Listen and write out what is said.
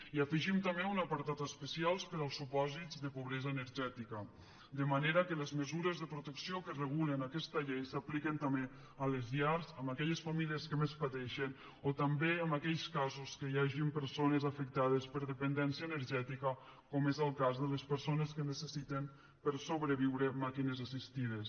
hi afegim també un apartat especial per als supòsits de pobresa energètica de manera que les mesures de protecció que regulen aquesta llei s’apliquen també a les llars en aquelles famílies que més pateixen o també en aquells casos que hi hagin persones afectades per dependència energètica com és el cas de les persones que necessiten per a sobreviure màquines assistides